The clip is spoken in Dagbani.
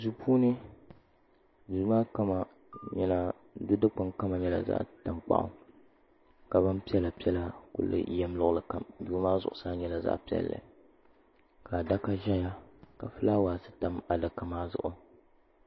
Duu puuni di dikpuna kama nyɛla zaɣ tankpaɣu ka bin piɛla piɛla ku yɛm luɣuli kam duu maa zuɣusaa nyɛla zaɣ piɛlli ka adaka ʒɛya ka fulaawaasi tam adaka maa zuɣu